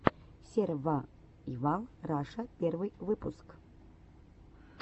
сервайвал раша первый выпуск